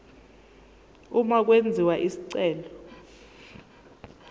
uma kwenziwa isicelo